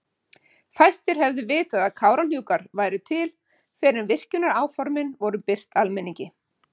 Fæstir hefðu vitað að Kárahnjúkar væru til fyrr en virkjanaáformin voru birt almenningi.